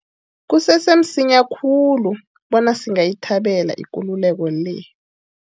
Kusese msinya khulu bona singayithabela ikululeko le.